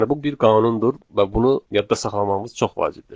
Yəni bu bir qanundur və bunu yadda saxlamağımız çox vacibdir.